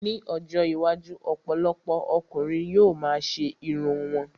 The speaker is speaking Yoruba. Ní ọjọ́ iwájú, ọ̀pọ̀lọpọ̀ ọkùnrin yóò ma ṣe irun wọn